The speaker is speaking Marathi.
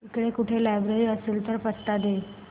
इकडे कुठे लायब्रेरी असेल तर पत्ता दे